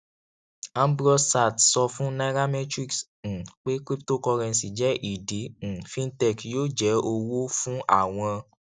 ambrose sartee sọ fún nairametrics um pé cryptocurrency jẹ ìdí um fintech yóò jẹ owó fún àwọn